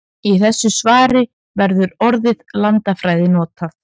Í þessu svari verður orðið landfræði notað.